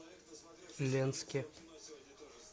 ленске